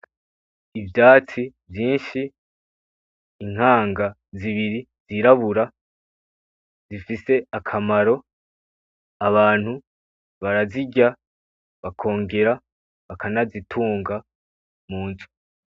Ivyatsi vyinshi, inkanga zibiri zirabura zifise akamaro. Abantu barazirya bakongera bakanazitunga munzu.